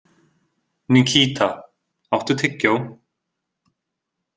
Nikíta, áttu tyggjó?